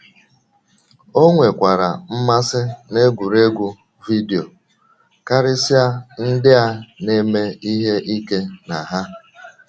O nwekwara mmasị n’egwuregwu vidio, karịsịa ndị a na - eme ihe ike na ha.